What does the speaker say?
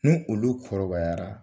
Ni olu kɔrɔbayara